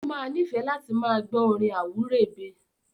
ó wa nífẹ́ láti máa gbọ́ orin àwúrèbe.